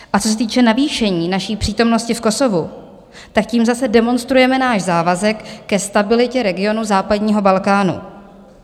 A co se týče navýšení naší přítomnosti v Kosovu, tak tím zase demonstrujeme náš závazek ke stabilitě regionu západního Balkánu.